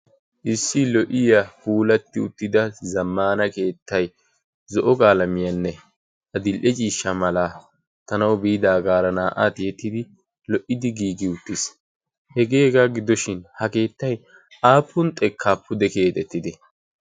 issi lo'iya puulatti uttida zammaana keettai zo'o gaalamiyaanne a dil'e ciishsha mala tanau biidaagaara naa'aa tiyettidi lo'idi giigi uttiis. hegeegaa gidoshin ha keettai aapun xekkaappu keedettidi?